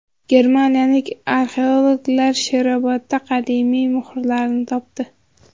Germaniyalik arxeologlar Sherobodda qadimiy muhrlarni topdi.